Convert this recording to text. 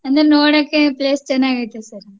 ಅಂದ್ರೆ ನೋಡಕೆ place ಚನಾಗೈತೆ sir .